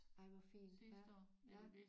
Ej hvor fint ja ja